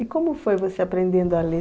E como foi você aprendendo a ler?